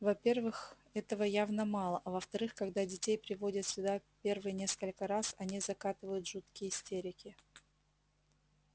во-первых этого явно мало а во-вторых когда детей приводят сюда первые несколько раз они закатывают жуткие истерики